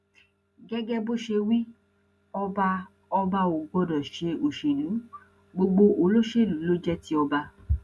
gẹgẹ bó ṣe wí ọba ọba ò gbọdọ ṣe òṣèlú gbogbo olóṣèlú ló jẹ ti ọba